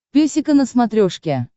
песика на смотрешке